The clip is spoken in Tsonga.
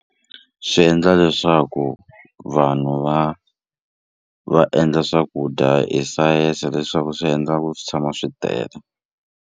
Swi endla leswaku vanhu va va endla swakudya hi science leswaku swi endla ku swi tshama swi tele.